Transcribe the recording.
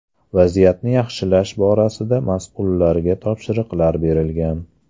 Vaziyatni yaxshilash borasida mas’ullarga topshiriqlar berilgan.